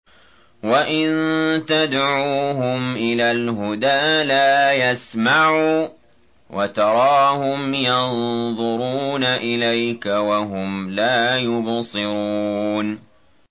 وَإِن تَدْعُوهُمْ إِلَى الْهُدَىٰ لَا يَسْمَعُوا ۖ وَتَرَاهُمْ يَنظُرُونَ إِلَيْكَ وَهُمْ لَا يُبْصِرُونَ